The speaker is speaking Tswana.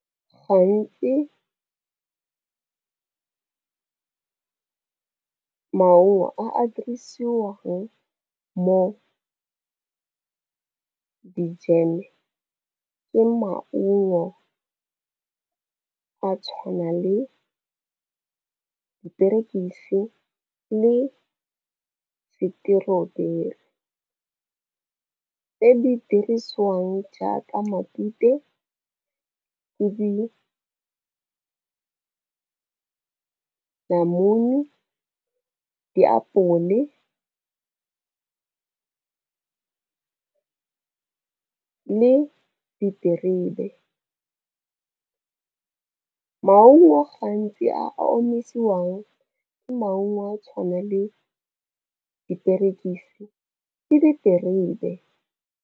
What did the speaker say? Gantsi maungo a a dirisiwang mo dijeme ke maungo a tshwana le diperekisi le seteroberi ko tse di dirisiwang jaaka matute le di namune, diapole le diterebe. Maungo gantsi a omisiwang ke maungo a tshwana le diperekisi le diterebe.